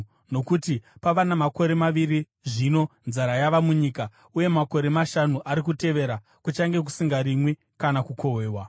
Nokuti pava namakore maviri zvino nzara yava munyika, uye makore mashanu ari kutevera kuchange kusingarimwi kana kukohwewa.